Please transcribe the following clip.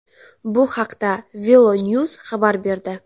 Bu haqda VeloNews xabar berdi .